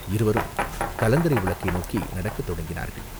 இருவரும் கலங்கரை விளக்கை நோக்கி நடக்கத் தொடங்கினார்கள்.